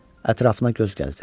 Ətrafına göz gəzdirdi.